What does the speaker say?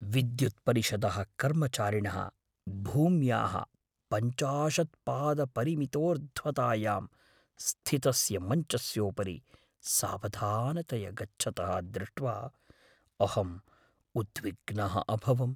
विद्युत्परिषदः कर्मचारिणः भूम्याः पञ्चाशत् पादपरिमितोर्ध्वतायां स्थितस्य मञ्चस्योपरि सावधानतया गच्छतः दृष्ट्वा अहम् उद्विग्नः अभवम्।